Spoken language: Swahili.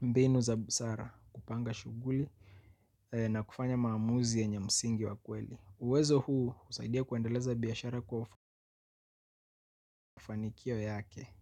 mbinu za busara kupanga shughuli na kufanya maamuzi yenye msingi wa kweli. Uwezo husaidia kuendeleza biashara kufikia mafanikio yake.